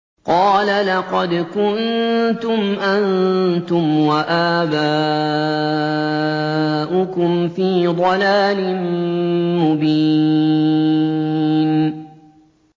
قَالَ لَقَدْ كُنتُمْ أَنتُمْ وَآبَاؤُكُمْ فِي ضَلَالٍ مُّبِينٍ